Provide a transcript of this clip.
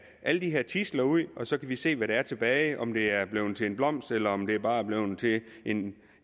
alle de her tidsler ud og så kan vi se hvad der er tilbage om det er blevet til en blomst eller om det bare blevet til en